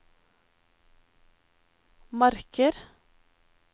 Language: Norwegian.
marker